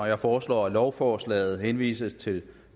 jeg foreslår at lovforslaget henvises til